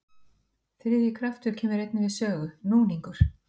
Þriðji kraftur kemur einnig við sögu, núningur.